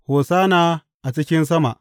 Hosanna a cikin sama!